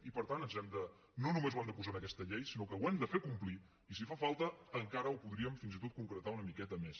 i per tant no només ho hem de posar en aquesta llei sinó que ho hem de fer complir i si fa falta encara ho podríem fins i tot concretar una miqueta més